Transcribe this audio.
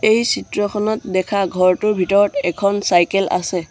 এই চিত্ৰখনত দেখা ঘৰটোৰ ভিতৰত এখন চাইকেল আছে।